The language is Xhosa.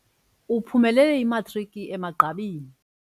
Uphumelele imatriki emagqabini.